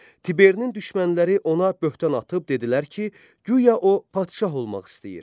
Tiberinin düşmənləri ona böhtan atıb dedilər ki, guya o padşah olmaq istəyir.